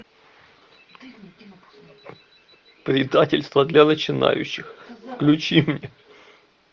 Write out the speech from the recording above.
предательство для начинающих включи мне